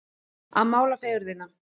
Að mála fegurðina